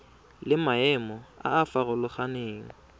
le maemo a a farologaneng